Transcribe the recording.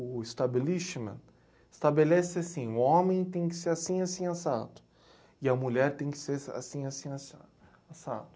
o establishment, estabelece assim, o homem tem que ser assim, assim, assado, e a mulher tem que ser assim, assim, assado.